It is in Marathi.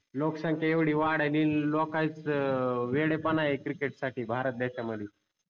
लोक संख्या येवडी वाड्याली लोकानंच वेडपण आहे. cricket साठी भारत देशा मध्ये